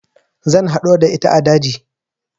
Zan haɗu da ita a daji